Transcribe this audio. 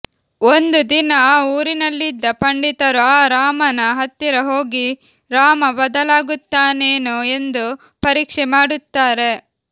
ಒಂದು ದಿನ ಆ ಊರಿನಲ್ಲಿದ್ದ ಪಂಡಿತರು ಆ ರಾಮನ ಹತ್ತಿರ ಹೋಗಿ ರಾಮ ಬದಲಾಗುತ್ತಾನೇನೋ ಎಂದು ಪರೀಕ್ಷೆ ಮಾಡುತ್ತಾರೆ